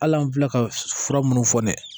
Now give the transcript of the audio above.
Hali an filɛ ka fura minnu fɔ dɛ